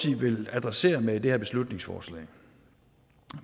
vil adressere med det her beslutningsforslag